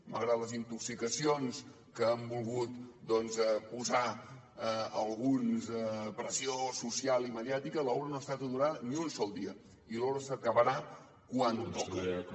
malgrat les intoxicacions que han volgut posar alguns pressió social i mediàtica l’obra no ha estat aturada ni un sol dia i l’obra s’acabarà quan toca